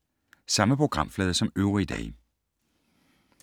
Samme programflade som øvrige dage